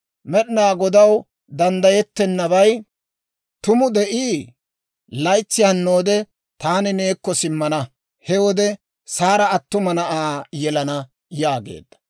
Med'inaa Godaw danddayettennabay tumu de'ii? Laytsi hannoode taani neekko simmana; he wode Saara attuma na'aa yelana» yaageedda.